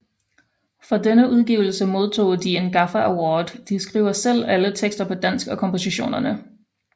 For denne udgivelse modtog de en gaffa award De skriver selv alle tekster på dansk og kompositionerne